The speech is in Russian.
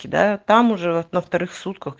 тебя там уже во вторых сутках